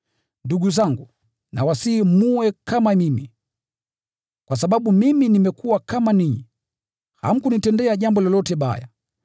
Ndugu zangu, nawasihi mwe kama mimi, kwa sababu mimi nimekuwa kama ninyi. Hamkunitendea jambo lolote baya.